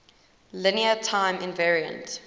linear time invariant